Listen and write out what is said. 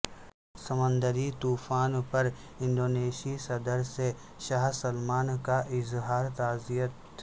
سمندری طوفان پر انڈونیشی صدر سے شاہ سلمان کا اظہار تعزیت